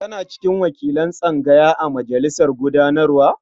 Kana cikin wakilan tsangaya a majalisar gudanarwa?